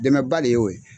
Dɛmɛba de y'o ye